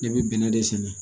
Ne bɛ bɛnɛ de sɛnɛ